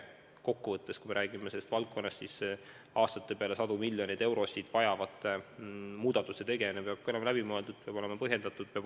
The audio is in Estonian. Kui me räägime sellest valdkonnast, siis aastate peale sadu miljoneid eurosid vajavate muudatuste tegemine peab olema hoolega läbi mõeldud, peab olema põhjendatud.